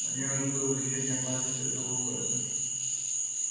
на ней уже было вечернее платье цвета лосося